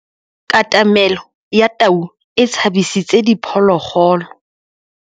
Katamêlô ya tau e tshabisitse diphôlôgôlô.